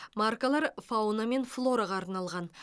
маркалар фауна мен флораға арналған